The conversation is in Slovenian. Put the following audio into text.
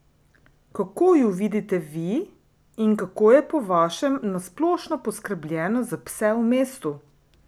Kako ju vidite vi in kako je po vašem na splošno poskrbljeno za pse v mestu?